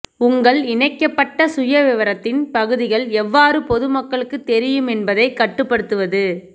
உங்கள் இணைக்கப்பட்ட சுயவிவரத்தின் பகுதிகள் எவ்வாறு பொது மக்களுக்குத் தெரியும் என்பதைக் கட்டுப்படுத்துவது